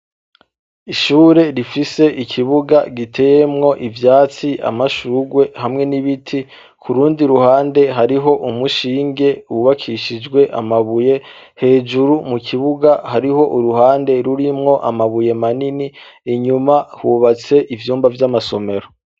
Ishure rifise ikibuga giteyemwo ivyatsi amashugwe hamwe n'ibiti kurundi ruhande hariho umushinge wubakishijwe amabuye hejuru mu kibuga hariho uruhande rurimwo amabuye manini inyuma hubatse ivyumba vy'amasomero.